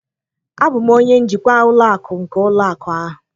Abụ m onye njikwa ụlọ akụ nke ụlọ akụ a